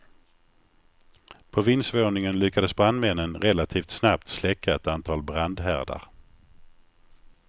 På vindsvåningen lyckades brandmännen relativt snabbt släcka ett antal brandhärdar.